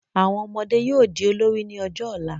Àwọn ọmọdé yóò di olórí ní ọjọ́ ọ̀la